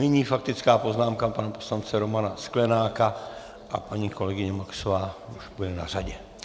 Nyní faktická poznámka pana poslance Romana Sklenáka a paní kolegyně Maxová už bude na řadě.